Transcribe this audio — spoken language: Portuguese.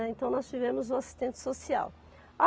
Então nós tivemos uma assistente social.